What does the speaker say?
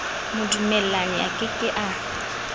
modumellani a ke ke a